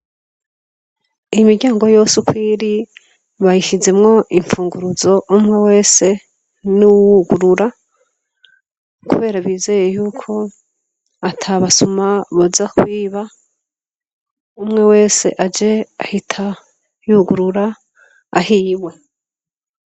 Imiryango yose uko iri bayishizemwo impfunguruzo umwe wese n'uwugurura, kubera bizeye yuko ata basuma boza kwiba umwe wese aje ahita yugurura ahiwe.